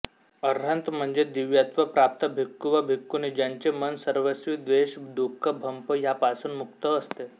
अरहंत म्हणजे दिव्यत्व प्राप्त भिक्खू वा भिक्खूणी ज्यांचे मन सर्वस्वी द्वेष दुख भ्पम ह्यापासूनमुक्त असते